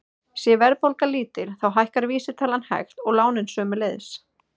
Sé verðbólga lítil þá hækkar vísitalan hægt og lánin sömuleiðis.